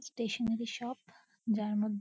stationery shop যার ম--